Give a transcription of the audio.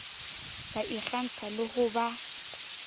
ba ikgantsha le ho ba